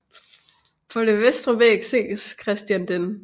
På den vestre væg ses Christians d